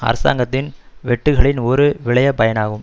அரசாங்கத்தின் வெட்டுக்களின் ஒரு விளைபயனாகும்